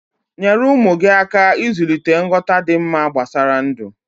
Nyere ụmụ gi aka ịzulịte nghọta dị mma gbasara ndụ